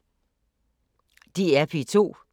DR P2